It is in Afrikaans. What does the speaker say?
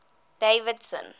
davidson